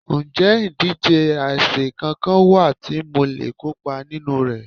Ǹjẹ́ ìdíje àsè kankan wà tí mo le kópa nínú rẹ̀?